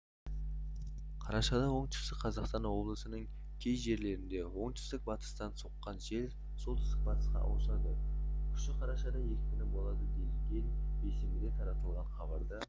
қарашада оңтүстік қазақстан облысының кей жерлерінде оңтүстік-батыстан соққан жел солтүстік-батысқа ауысады күші қарашада екпіні болады делінген бейсенбіде таратылған хабарда